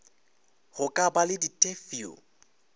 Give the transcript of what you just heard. go ka ba le ditefio